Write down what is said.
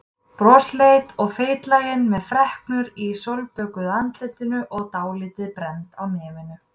Brosleit og feitlagin með freknur í sólbökuðu andlitinu og dálítið brennd á nefinu.